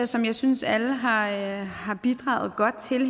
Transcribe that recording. som jeg synes alle har har bidraget godt til